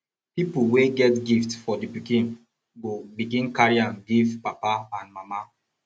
pipol wey get gift for di pikin go begin carry am giv papa and mama